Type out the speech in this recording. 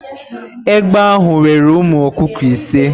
Egbe ahụ weere ụmụ ọkụkọ ise.